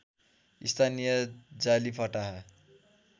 स्थानीय जाली फटाहा